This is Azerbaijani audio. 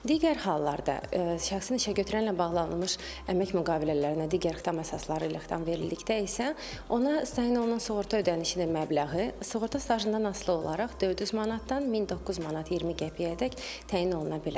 Digər hallarda şəxsin işə götürənlə bağlanılmış əmək müqavilələrinə digər xitam əsasları ilə xitam verildikdə isə ona təyin olunan sığorta ödənişinin məbləği sığorta stajından asılı olaraq 400 manatdan 1009 manat 20 qəpiyədək təyin oluna bilər.